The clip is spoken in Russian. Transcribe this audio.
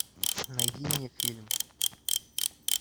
найди мне фильм